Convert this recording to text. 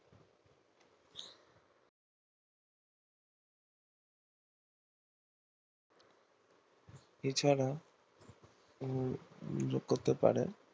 এ ছাড়াও যুক্ত হতে পারে